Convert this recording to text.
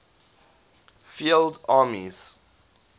field armies